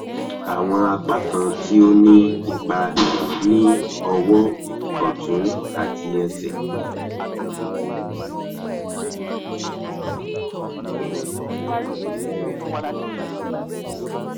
awọn apakan ti o ni ipa ni ọwọ ọtun ati ẹsẹ